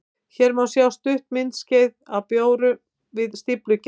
Hér má sjá stutt myndskeið af bjór við stíflugerð.